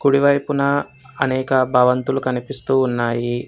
కుడివైపున అనేక భవంతులు కనిపిస్తూ ఉన్నాయి.